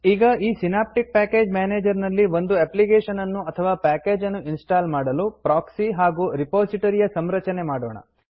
ಈಗ ಈ Synaptic package manager ನಲ್ಲಿ ಒಂದು ಎಪ್ಲಿಕೇಶನ್ ಅನ್ನು ಅಥವಾ ಪ್ಯಾಕೇಜ್ ಅನ್ನು ಇನ್ಸ್ಟಾಲ್ ಮಾಡಲು ಪ್ರೋಕ್ಸಿ ಹಾಗೂ ರಿಪೋಸಿಟೊರಿ ಯ ಸಂರಚನೆ ಮಾಡೋಣ